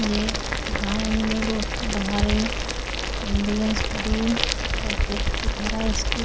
ये गाँव में रोड के बाहर एक एम्बुलेंस खड़ी है परफेक्ट लिखा रहा है इसके ऊपर--